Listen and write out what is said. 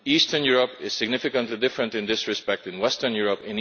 Eastern Europe is significantly different in this respect to Western Europe.